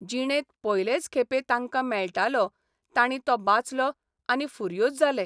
जिणेंत पयलेच खेपे तांकां मेळटालों तांणी तो बाचलो आनी फुर्योज जाले.